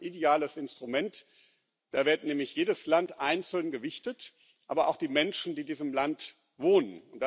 Und das ist ein ideales Instrument. Da wird nämlich jedes Land einzeln gewichtet, aber auch die Menschen, die in diesem Land wohnen.